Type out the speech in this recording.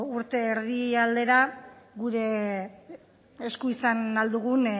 urte erdira gure esku izan ahal dugun